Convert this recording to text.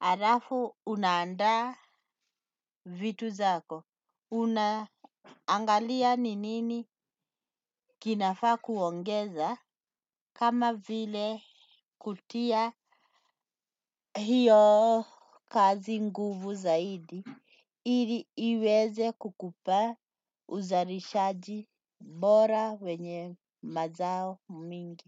alafu unaandaa vitu zako, unaangalia ni nini kinafaa kuongeza, kama vile kutia hiyo kazi nguvu zaidi, ili iweze kukupa uzalishaji bora wenye mazao mingi.